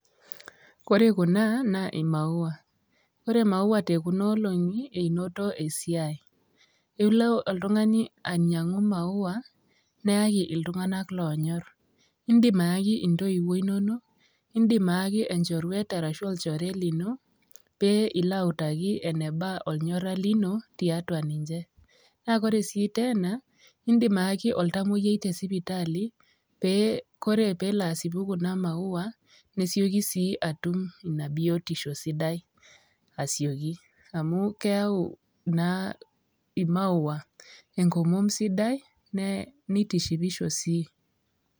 Kore kuna naa i maua naa kore maua te kuna olong'i einoto esiai. Ilo oltung'ani ainyang'u i maua neyaki iltung'anak loonyor. Indim ayaki intoiwuo inonok, indim ayaki enchoruet arashu olchoruet lino pee ilo autaki eneba ornyora lino tiatua ninje naa kore sii tena indim ayaki oltamueyiai te sipitali pee kore peelo asipu kuna maua, nesioki sii atum ina biotisho sidai asioki amu keyau naa i maua enkomom sidai ne nitishipisho sii.